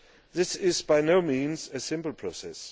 This is, by no means, a simple process.